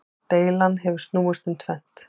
Deilan hefur snúist um tvennt.